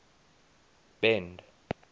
bend